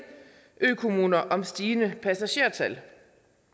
ø kommuner om stigende passagertal